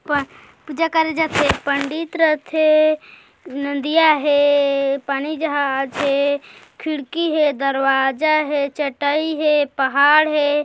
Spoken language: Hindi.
पूजा करे जाथे पंडित रथे नदियाँ हे पानी जहाज हे खिड़की हे दरवाजा हे चटाई हे पहाड़ हे।